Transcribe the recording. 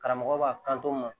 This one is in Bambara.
Karamɔgɔ b'a kanto ma